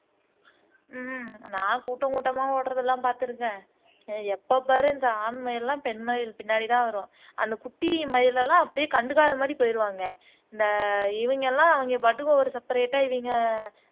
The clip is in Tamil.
ஹம் நான் கூட்டம் கூட்டமா ஓடுறதெல்லாம் பாத்திருக்கேன் எப்ப பாரு இந்த ஆண் மயில் எல்லாம் பெண் மயில்கள் பின்னாடி தான் வரும் அந்த குட்டி மயிலெல்லாம் அப்படியே கண்டுக்காத மாறி போயிருவாங்க இந்த இவங்கெல்லாம் அவங்க பாட்டுக்கு ஒரு செபரெட்டா இவங்க